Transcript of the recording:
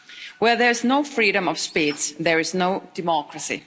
Where there is no freedom of speech there is no democracy.